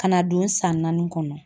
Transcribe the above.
Kana don san naani kɔnɔ.